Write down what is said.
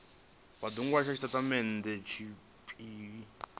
vha do nwalisa tshitatamennde tshiphirini